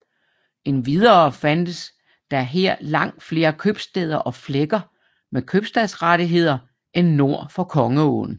Endvidere fandtes der her langt flere købstæder og flækker med købstadsrettigheder end nord for Kongeåen